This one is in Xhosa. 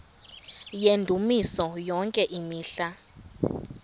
yendumiso yonke imihla